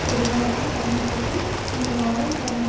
பெறுவார் என்ற கண்ணோட்டத்தில் இந்த வாரம் கடந்த